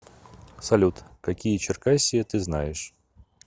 салют какие черкассия ты знаешь